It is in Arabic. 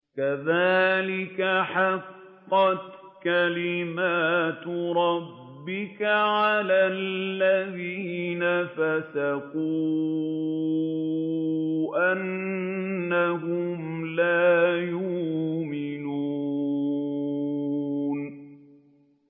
كَذَٰلِكَ حَقَّتْ كَلِمَتُ رَبِّكَ عَلَى الَّذِينَ فَسَقُوا أَنَّهُمْ لَا يُؤْمِنُونَ